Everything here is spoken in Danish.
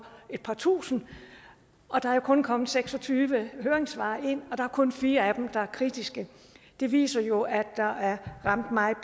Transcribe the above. et par tusinde og der er kun kommet seks og tyve høringssvar ind og der er kun fire af dem der er kritiske det viser jo at der er ramt meget